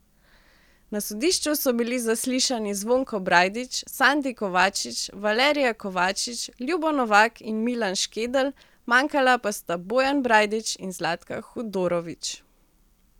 Na sodišču so bili zaslišani Zvonko Brajdič, Sandi Kovačič, Valerija Kovačič, Ljubo Novak in Milan Škedelj, manjkala pa sta Bojan Brajdič in Zlatka Hudorovič.